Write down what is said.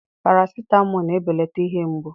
paracetamol na-ebelata ihe mgbu